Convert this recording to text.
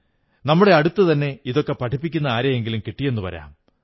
നമ്മുടെ അടുത്തുതന്നെ ഇതൊക്കെ പഠിപ്പിക്കുന്ന ആരെയെങ്കിലും കിട്ടിയെന്നു വരാം